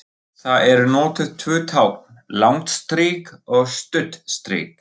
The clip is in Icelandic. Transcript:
Þar eru notuð tvö tákn, langt strik og stutt strik.